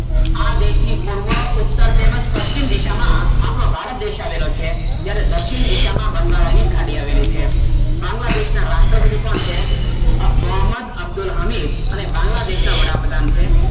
આ દેશ ની પૂર્વ ઉત્તર તેમજ પક્ષિમ દિશા માં આપનો ભારત દેશ આવેલો છે જયારે દક્ષિણ દિશા માં બંગાળા ની ખાડી આવેલી છે બાગ્લા દેશ ના રાષ્ટ્રપતિ કોણ છે મોહમંદ અબ્દુલ હામીર બાંગ્લાદેશ ના વડાપ્રધાન છે